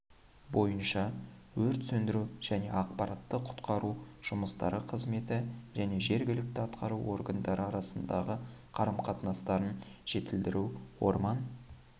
бойынша өрт сөндіру және апаттық-құтқару жұмыстары қызметі және жергілікті атқару органдары арасындағы қарым-қатынастарын жетілдіру орман